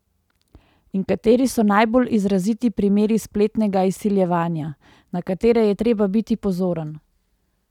In kateri so najbolj izraziti primeri spletnega izsiljevanja, na katere je treba biti pozoren?